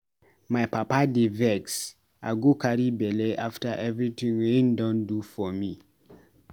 My papa dey vex sey I go carry belle after evrytin wey im don do for me.